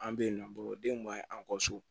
An bɛ yen nɔ bo denw ma an kɔ so